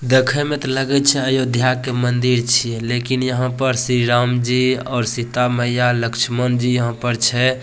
देखे में ते लगे छै अयोध्या के मंदिर छिये लेकिन यहाँ पर श्री राम जी और सीता मैया लक्ष्मण जी यहाँ पर छै।